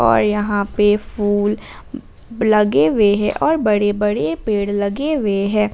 और यहां पे फूल लगे हुए हैं और बड़े बड़े पेड़ लगे हुए हैं।